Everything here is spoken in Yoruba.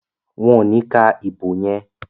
Wón ní ka ìbò yén.